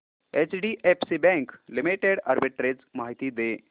HDFC bank limited arbitrage माहिती दे